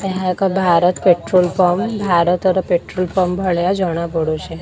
ଏହା ଏକ Bharat petrol pump ଭାରତର ପେଟ୍ରୋଲ ପମ୍ପ ଭଳିଆ ଜଣା ପଡୁଚି।